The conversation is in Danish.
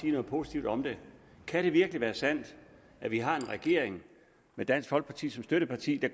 noget positivt om det kan det virkelig være sandt at vi har en regering med dansk folkeparti som støtteparti